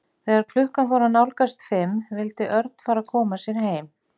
Þegar klukkan fór að nálgast fimm vildi Örn fara að koma sér heim.